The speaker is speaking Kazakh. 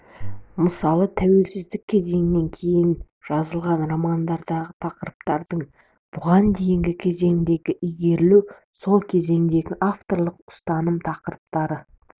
мысалы тәуелсіздік кезеңінен кейін жазылған романдардағы тақырыптардың бұған дейінгі кезеңдердегі игерілуі сол кезеңдегі авторлық ұстаным тақырыптардың